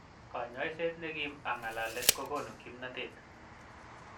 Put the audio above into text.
kanyoiset nekim ak ngalalet kokonu kimnotet.